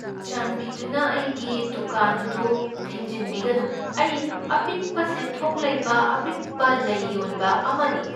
ꯆꯥꯟꯕꯤꯗꯨꯅ ꯑꯩꯒꯤ ꯗꯨꯀꯥꯟ ꯑꯗꯨ ꯊꯤꯡꯖꯤꯟꯕꯤꯒꯅꯨ꯫ ꯑꯩ ꯑꯄꯤꯛꯄ ꯁꯦꯟꯊꯣꯛ ꯂꯩꯕ ꯑꯄꯤꯛꯄ ꯂꯩ ꯌꯣꯟꯕ ꯑꯃꯅꯤ꯫